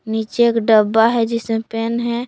नीचे एक डब्बा है जिसमें पेन है।